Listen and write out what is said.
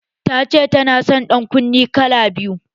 Ta ce ta nason ƴan kunne kala biyu.